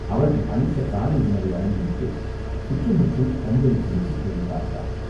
அவர்கள் அளித்த காலை உணவை அருந்திவிட்டுச் சுற்றுமுற்றும் கண்களைச் செலுத்தித் தேடிப் பார்த்தான்.